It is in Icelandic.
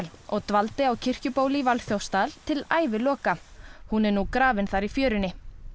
og dvaldi á kirkjubóli í Valþjófsdal til æviloka hún er nú grafin þar í fjörunni